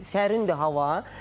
Sərindir hava.